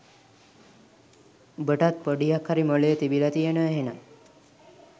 උඹටත් පොඩියක් හරි මොළේ තිබිල තියෙනව එහෙනම්